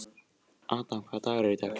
Adam, hvaða dagur er í dag?